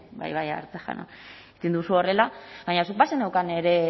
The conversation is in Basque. bai bai aiartza jauna egin duzu horrela baina